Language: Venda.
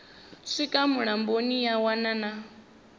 swika mulamboni ya wana na